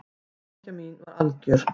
Hamingja mín var algjör.